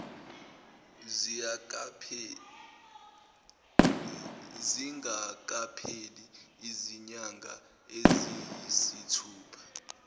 zingakapheli izinyanga eziyisithupha